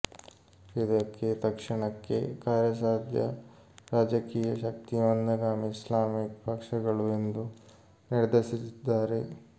ಇದಕ್ಕೆ ತಕ್ಷಣಕ್ಕೆ ಕಾರ್ಯಸಾಧ್ಯ ರಾಜಕೀಯ ಶಕ್ತಿ ಮಂದಗಾಮಿ ಇಸ್ಲಾಮಿಕ್ ಪಕ್ಷಗಳು ಎಂದು ನಿರ್ಧರಿಸಿದ್ದಾರೆ